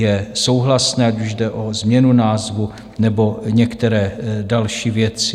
Je souhlasné, ať už jde o změnu názvu, nebo některé další věci.